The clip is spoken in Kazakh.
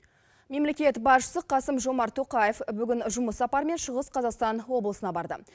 мемлекет басшысы қасым жомарт тоқаев бүгін жұмыс сапарымен шығыс қазақстан облысына барды